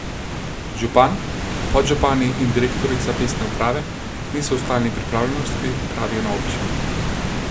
Župan, podžupani in direktorica mestne uprave niso v stalni pripravljenosti, pravijo na občini.